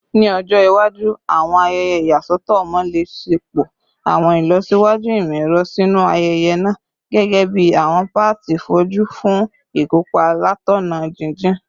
Ni ọjọ iwaju, awọn ayẹyẹ iyasọtọ ọmọ le ṣepọ awọn ilọsiwaju imọ-ẹrọ sinu ayẹyẹ naa, gẹgẹbi awọn paati foju fun ikopa latọna jijin